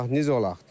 Bax necə olaq?